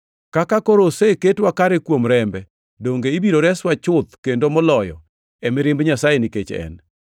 Kaka koro oseketwa kare kuom rembe, donge ibiro reswa chuth kendo moloyo e mirimb Nyasaye nikech En!